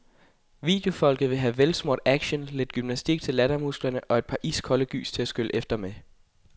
Videofolket vil have velsmurt action, lidt gymnastik til lattermusklerne og et par iskolde gys til at skylle efter med.